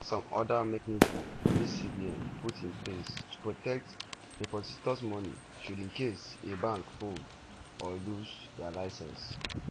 also e get some oda mechanisms wey cbn put in place to protect depositors money should in case a bank fold or lose dia licence.